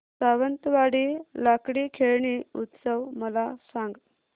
सावंतवाडी लाकडी खेळणी उत्सव मला सांग